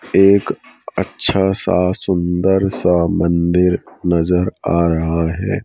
एक अच्छा सा सुंदर सा मंदिर नजर आ रहा है।